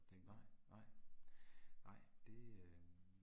Nej, nej. Nej det øh